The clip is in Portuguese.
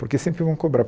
Porque sempre vão cobrar.